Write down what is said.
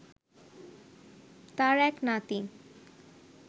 তাঁর এক নাতি